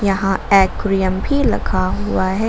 यहां एक्वेरियम भी लखा हुआ है।